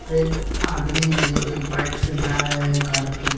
और एक आदमी है जो कि बाइक से जा रहे हैं घर पे।